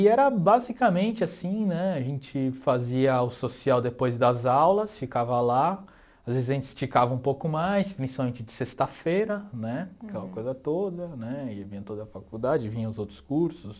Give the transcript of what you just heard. E era basicamente assim, né, a gente fazia o social depois das aulas, ficava lá, às vezes a gente esticava um pouco mais, principalmente de sexta-feira, né, aquela coisa toda, né, e vinha toda a faculdade, vinha os outros cursos.